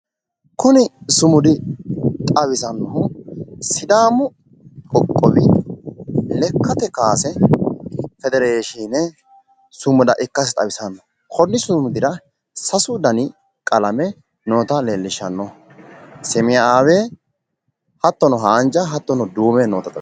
Kuni sumudi xawisannohu sidaamu qoqqowi lekkate kaase federeshiine sumuda ikkasi xawisanno, konni sumudira sasu dani qalame noota leellishanno semeyaawe, haanja hattono duume noota xawisanno.